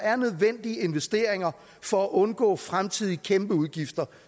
er nødvendige investeringer for at undgå fremtidige kæmpeudgifter